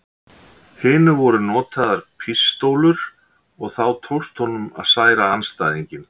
hinu voru notaðar pístólur og þá tókst honum að særa andstæðinginn.